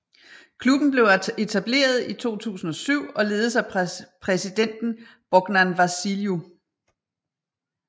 Klubben blev etableret i 2007 og ledes af præsidenten Bognan Vasiliu